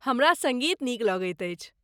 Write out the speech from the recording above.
हमरा सङ्गीत नीक लगैत अछि।